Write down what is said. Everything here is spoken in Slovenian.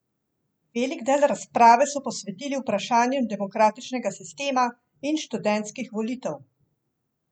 Velik del razprave so posvetili vprašanjem demokratičnega sistema in študentskih volitev.